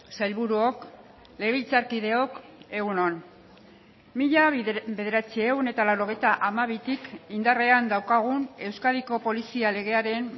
sailburuok legebiltzarkideok egun on mila bederatziehun eta laurogeita hamabitik indarrean daukagun euskadiko polizia legearen